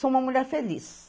Sou uma mulher feliz.